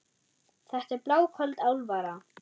Þetta er bláköld alvara.